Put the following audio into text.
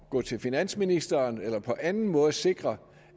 gå til finansministeren eller på anden måde sikre